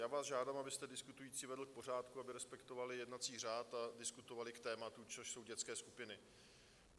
Já vás žádám, abyste diskutující vedl k pořádku, aby respektovali jednací řád a diskutovali k tématu, což jsou dětské skupiny.